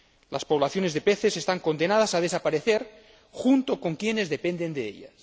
Las poblaciones de peces están condenadas a desaparecer junto con quienes dependen de ellas.